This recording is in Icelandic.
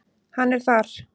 Hann er þar.